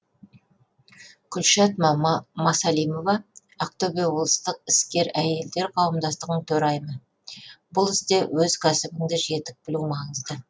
күлшат масалимова ақтөбе облыстық іскер әйелдер қауымдастығының төрайымы бұл істе өз кәсібіңді жетік білу маңызды